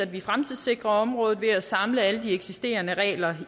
vi fremtidssikrer området ved at samle alle de eksisterende regler